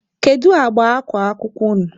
Kedụ agba akwa akwụkwọ unu?